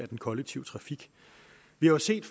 den kollektive trafik vi har set